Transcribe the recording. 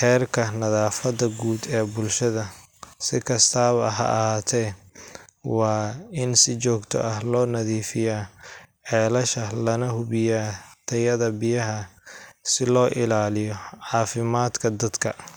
heerka nadaafadda guud ee bulshada. Si kastaba ha ahaatee, waa in si joogto ah loo nadiifiyaa ceelasha lana hubiyaa tayada biyaha si loo ilaaliyo caafimaadka dadka